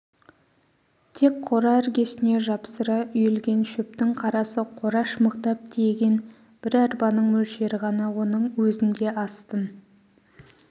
тек қора іргесіне жапсыра үйілген шөптің қарасы қораш мықтап тиеген бір арбаның мөлшері ғана оның өзін де астын